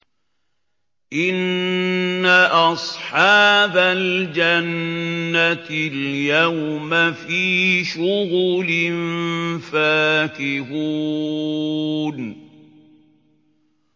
إِنَّ أَصْحَابَ الْجَنَّةِ الْيَوْمَ فِي شُغُلٍ فَاكِهُونَ